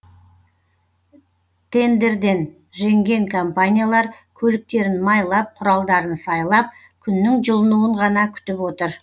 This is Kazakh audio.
тендерден жеңген компаниялар көліктерін майлап құралдарын сайлап күннің жылынуын ғана күтіп отыр